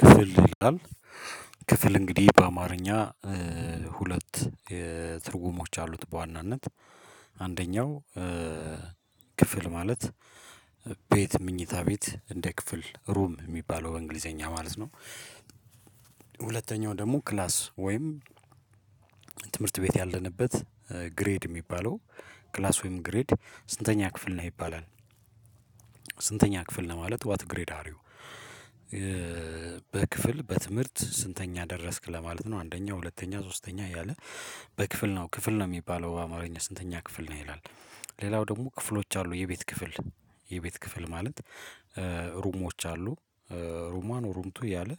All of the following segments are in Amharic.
ክፍል ይላል ክፍል እንግዲህ በአማርኛ ሁለት ትርጉሞች አሉት በዋናነት አንደኛው ክፍል ማለት ቤት ምኝታ ቤት እንደ ክፍል ሩም የሚባለው በእንግሊዝኛ ማለት ነው። ሁለተኛው ደግሞ ክላስ ወይም ትምህርት ቤት ያለንበት ግሬድ የሚባለው ክላስ ወይም ግሬድ ስንተኛ ክፍል ነህ ይባላል። ስንተኛ ክፍል ነው ማለት ዋት ግሬድ አር ዩ? በክፍል በትምህርት ስንተኛ ደረስክ ለማለት ነው አንደኛ ሁለተኛ ሶስተኛ እያለ በክፍል ነው ክፍል ነው የሚባለው በአማርኛ ስንተኛ ክፍል ነህ ይላል። ሌላው ደግሞ ክፍሎች አሉ የቤት ክፍል የቤት ክፍል ማለት ሩሞች አሉ። ሩምዋን ሩምቱ እያለ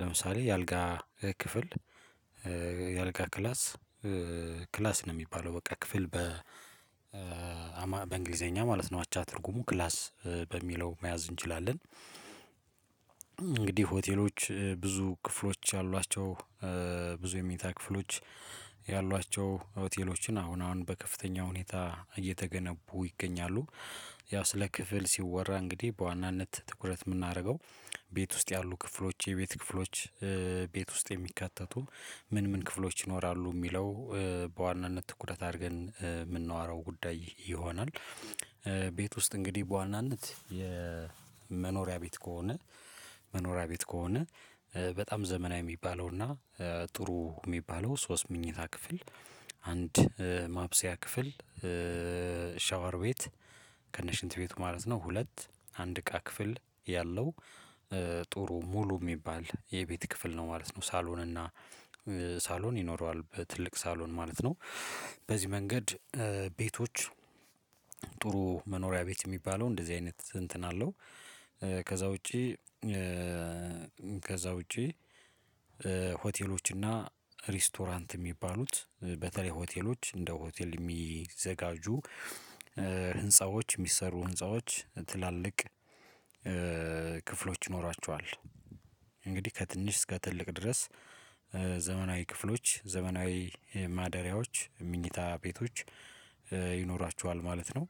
ለምሳሌ የአልጋ ክፍል የአልጋ ክላስ ክላስ ነው የሚባለው በቃ ክፍል በ በእንግሊዝኛ ማለት ነው አቻ ትርጉሙ ክላስ በሚለው መያዝ እንችላለን። እንግዲህ ሆቴሎች ብዙ ክፍሎች ያሏቸው ብዙ የመኝታ ክፍሎች ያሏቸው ሆቴሎችን አሁን አሁን በከፍተኛ ሁኔታ እየተገነቡ ይገኛሉ። ያው ስለ ክፍል ሲወራ እንግዲህ በዋናነት ትኩረት የምናደርገው ቤት ውስጥ ያሉ ክፍሎች የቤት ክፍሎች ቤት ውስጥ የሚካተቱ ምን ምን ክፍሎች ይኖራሉ የሚለው በዋናነት ትኩረት አድርገን የምናዎረው ጉዳይ ይሆናል። ቤት ውስጥ እንግዲህ በዋናነት የመኖሪያ ቤት ከሆነ መኖሪያ ቤት ከሆነ በጣም ዘመናዊ የሚባለውና ጥሩ የሚባለው ሶስት ምኝታ ክፍል አንድ ማብሰያ ክፍል ሻወር ቤት ከነ ሽንት ቤቱ ማለት ነው ሁለት አንድ እቃ ክፍል ያለው ጥሩ ሙሉ የሚባል የቤት ክፍል ነው ማለት ነው። ሳሎን እና ሳሎን ይኖረዋል በትልቅ ሳሎን ማለት ነው በዚህ መንገድ ቤቶች ጥሩ መኖሪያ ቤት የሚባለው እንደዚህ አይነት እንትን አለው። ከዛ ውጪ ከዛ ውጪ ሆቴሎች እና ሬስቶራንት የሚባሉት በተለይ ሆቴሎች እንደ ሆቴል የሚዘጋጁ ህንፃዎች የሚሰሩ ህንፃዎች ትላልቅ ክፍሎች ይኖራቸዋል እንግዲህ ከትንሽ እስከ ትልቅ ድረስ ዘመናዊ ክፍሎች ዘመናዊ ማደሪያዎች ምኝታ ቤቶች ይኖራቸዋል ማለት ነው።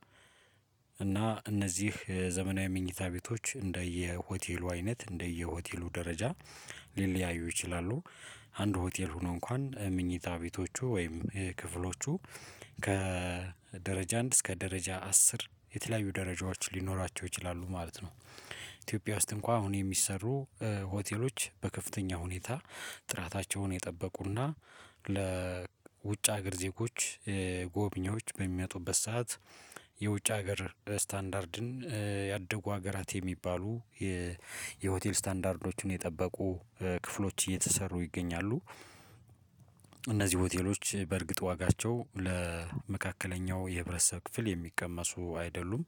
እና እነዚህ ዘመናዊ መኝታ ቤቶች እንደየ ሆቴሉ አይነት እንደየ ሆቴሉ ደረጃ ሊለያዩ ይችላሉ አንድ ሆቴል ሆኖ እንኳን ምኝታ ቤቶቹ ወይም ክፍሎቹ ከደረጃ አንድ እስከ ደረጃ አስር የተለያዩ ደረጃዎች ሊኖራቸው ይችላሉ ማለት ነው። ኢትዮጵያ ውስጥ እንኳን አሁን የሚሰሩ ሆቴሎች በከፍተኛ ሁኔታ ጥራታቸውን የጠበቁና ለውጭ ሀገር ዜጎች ጎብኚዎች በሚመጡበት ሰዓት የውጭ ሀገር ስታንዳርድን ያደጉ ሀገራት የሚባሉ የሆቴል ስታንዳርዶችን የጠበቁ ክፍሎች እየተሰሩ ይገኛሉ። እነዚህ ሆቴሎች በእርግጥ ዋጋቸው ለመካከለኛው የህብረተሰብ ክፍል የሚቀመሱ አይደሉም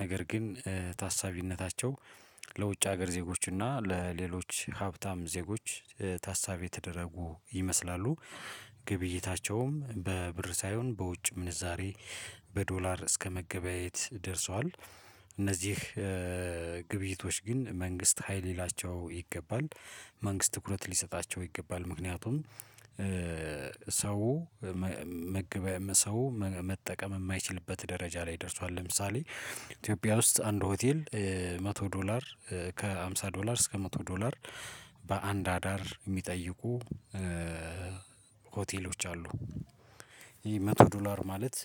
ነገር ግን ታሳቢነታቸው ለውጭ ሀገር ዜጎች እና ለሌሎች ሀብታም ዜጎች ታሳቢ የተደረጉ ይመስላሉ ግብይታቸውም በብር ሳይሆን በውጭ ምንዛሬ በዶላር እስከመገበያየት ደርሷል። እነዚህ ግብይቶች ግን መንግስት ሃይ ሊላቸው ይገባል መንግስት ትኩረት ሊሰጣቸው ይገባል ምክንያቱም ሰው መመገበያ ሰው መጠቀም የማይችልበት ደረጃ ላይ ደርሷል ለምሳሌ ኢትዮጵያ ውስጥ አንድ ሆቴል መቶ ዶላር ከሃምሳ ዶላር እስከ መቶ ዶላር በአንድ አዳር የሚጠይቁ ሆቴሎች አሉ። ይሄ መቶ ዶላር ማለት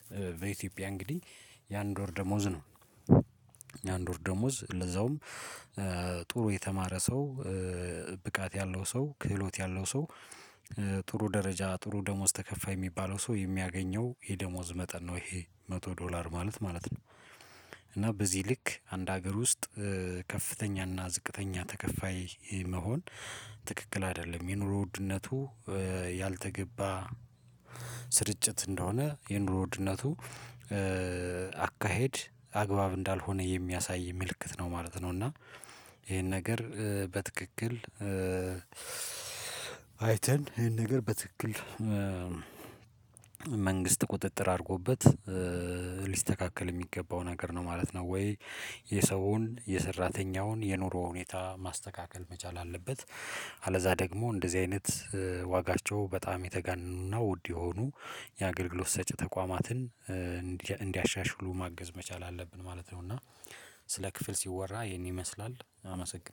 በኢትዮጵያ እንግዲህ የአንድ ወር ደሞዝ ነው። የአንድ ወር ደሞዝ ለዛውም ጥሩ የተማረ ሰው ብቃት ያለው ሰው ክህሎት ያለው ሰው ጥሩ ደረጃ ጥሩ ደሞዝ ተከፋይ የሚባለው ሰው የሚያገኘው የደሞዝ መጠን ነው ይሄ መቶ ዶላር ማለት ማለት ነው። እና በዚህ ልክ አንድ ሀገር ውስጥ ከፍተኛና ዝቅተኛ ተከፋይ መሆን ትክክል አይደለም የኑሮ ውድነቱ ያልተገባ ስርጭት እንደሆነ የኑሮ ውድነቱ አካሄድ አግባብ እንዳልሆነ የሚያሳይ ምልክት ነው ማለት ነው። እና ይሄን ነገር በትክክል አይተን ይሄን ነገር በትክክል መንግስት ቁጥጥር አድርጎበት ሊስተካከል የሚገባው ነገር ነው ማለት ነው ወይ የሰውን የሠራተኛውን የኑሮ ሁኔታ ማስተካከል መቻል አለበት። አለዛ ደግሞ እንደዚህ አይነት ዋጋቸው በጣም የተጋነኑና ውድ የሆኑ የአገልግሎት ሰጪ ተቋማትን እንዲያሻሽሉ ማገዝ መቻል አለብን ማለት ነው። እና ስለ ክፍል ሲወራ ይሄን ይመስላል አመሰግናለሁ